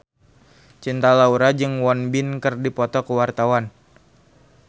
Cinta Laura jeung Won Bin keur dipoto ku wartawan